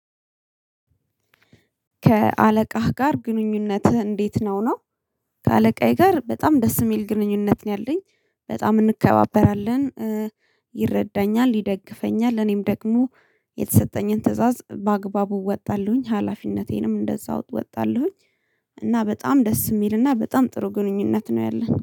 ከአለቃህ ጋር ግንኙነትህ እንዴት ነው ነው? ከአለቃዬ ጋር በጣም ደስ የሚል ግንኙነት ነው ያለኝ በጣም እንከባበራለን። ይረዳኛል ይደግፈኛል እኔም ደግሞ የተሰጠኝን ትእዛዝ በአግባቡ እወጣለሁኝ ሀላፊነቴንም እንደዛው እወጣለሁኝ። እና በጣም ደስ የሚልና በጣም ጥሩ ግንኙነት ነው ያለን